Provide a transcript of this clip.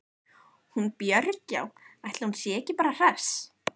Hún Björg- já, ætli hún sé ekki bara hress.